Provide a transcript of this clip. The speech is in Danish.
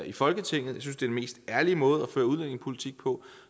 i folketinget jeg synes det mest ærlige måde at føre udlændingepolitik på